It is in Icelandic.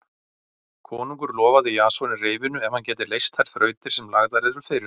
Konungur lofaði Jasoni reyfinu ef hann gæti leyst þær þrautir sem lagðar yrðu fyrir hann.